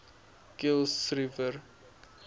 kuilsrivier